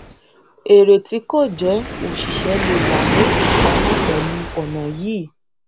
èrè tí kò jẹ òṣìṣẹ lè wa ní ìpamọ pẹlú ònà yìí